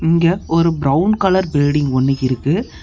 இங்க ஒரு brown colour building ஒன்னு இருக்கு.